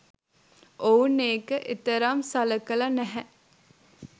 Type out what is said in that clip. ඔවුන් ඒක එතරම් සළකලා නැහැ.